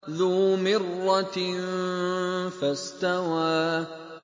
ذُو مِرَّةٍ فَاسْتَوَىٰ